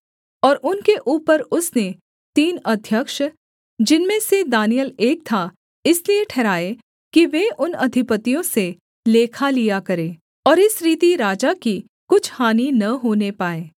और उनके ऊपर उसने तीन अध्यक्ष जिनमें से दानिय्येल एक था इसलिए ठहराए कि वे उन अधिपतियों से लेखा लिया करें और इस रीति राजा की कुछ हानि न होने पाए